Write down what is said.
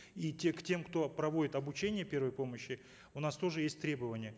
и те к тем кто проводит обучение первой помощи у нас тоже есть требования